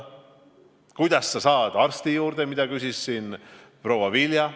Ja kuidas sa enne seda saad arsti juurde, mille kohta küsis siin proua Vilja.